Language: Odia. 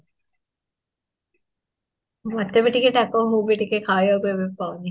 ମୁଁ ଏତେ ବି ଟିକେ ତାଙ୍କ ମୁଁ ବି ଟିକେ ଖାଇବା କୁ ଏବେ ପାଉନି